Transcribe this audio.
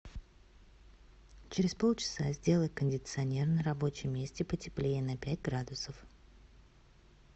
через полчаса сделай кондиционер на рабочем месте потеплее на пять градусов